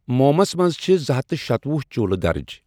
مومُس مَنٛز چھ زٕ ہتھَ تہٕ شتوُہ چولہٕ درج۔